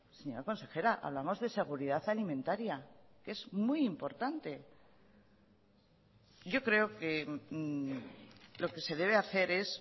señora consejera hablamos de seguridad alimentaria que es muy importante yo creo que lo que se debe hacer es